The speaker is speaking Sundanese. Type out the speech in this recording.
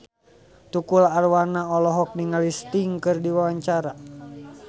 Tukul Arwana olohok ningali Sting keur diwawancara